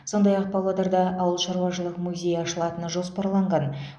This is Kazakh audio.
сондай ақ павлодарда ауылшаруашылық музейі ашылатыны жоспарланған